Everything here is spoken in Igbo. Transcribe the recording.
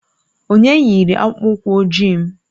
Onye yiri akpụkpọ ụkwụ ojii m?